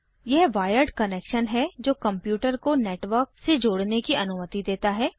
यह wired connection है जो कंप्यूटर को नेटवर्क से जोड़ने की अनुमति देता है